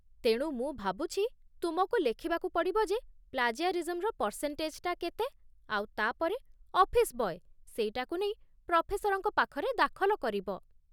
ତେଣୁ, ମୁଁ ଭାବୁଛି ତୁମକୁ ଲେଖିବାକୁ ପଡ଼ିବ ଯେ ପ୍ଲାଜିଆରିଜିମ୍‌ରେ ପର୍ସେଣ୍ଟେଜ୍‌ଟା କେତେ, ଆଉ ତା'ପରେ ଅଫିସ୍ ବୟ ସେଇଟାକୁ ନେଇ ପ୍ରଫେସରଙ୍କ ପାଖରେ ଦାଖଲ କରିବ ।